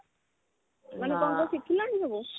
କଣ କଣ ଶିଖିଲଣି ସବୁ